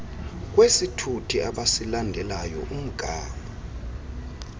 kwesithuthi abasilandelayo umgama